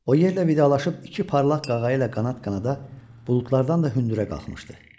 O yerlə vidalaşıb iki parlaq qağayı ilə qanat-qanada buludlardan da hündürə qalxmışdı.